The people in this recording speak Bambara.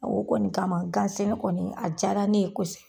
A o kɔni kama gan sɛnɛ kɔni a jara ne ye kosɛ